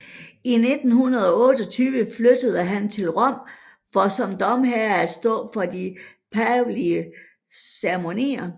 I 1928 flyttede han til Rom for som domherre at stå for de pavelige ceremonier